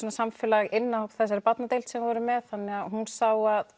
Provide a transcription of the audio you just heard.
samfélag inni á þessari barnadeild sem við erum með þannig hún sá að